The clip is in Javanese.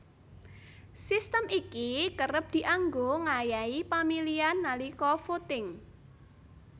Sistem iki kerep dianggo ngayahi pamilihan nalika voting